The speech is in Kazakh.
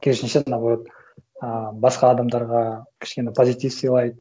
керісінше наоборот ы басқа адамдарға кішкене позитив сыйлайды